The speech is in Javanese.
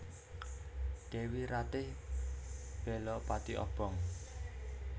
Dèwi Ratih bela pati obong